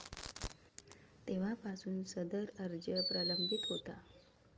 तेव्हापासून सदर अर्ज प्रलंबित होता.